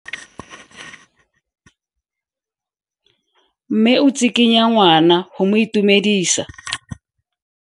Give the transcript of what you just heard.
Mme o tsikitla ngwana go mo itumedisa.